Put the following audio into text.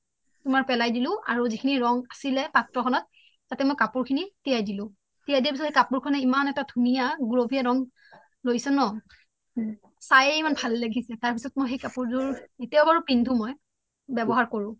তুমাৰ পেলাই দিলো আৰু জিখিনি ৰানং আছিলে পত্ৰো খনত তাতে মই কাপুৰ খিনি তিয়াই দিলো তিয়াই দিযাৰ পিছ্ত কাপুৰ খনে ইমান এটা ধুনিয়া গুলোপিয়া ৰানং লৈছে ন চাইয়ে ইমান মুৰ ভাল লাগিছে তাৰ পিছ্ত মই কাপুৰ জোৰ ইতিয়াও পিন্ধু মই ৱ্যবহাৰ কৰো